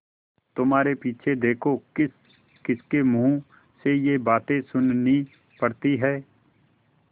तुम्हारे पीछे देखो किसकिसके मुँह से ये बातें सुननी पड़ती हैं